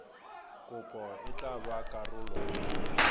kopo e tla ba karolo